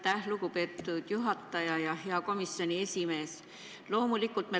Aitäh, lugupeetud juhataja!